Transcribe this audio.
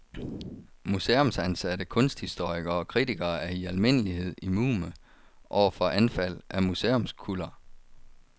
Museumsansatte kunsthistorikere og kritikere er i almindelighed immune over for anfald af museumskuller.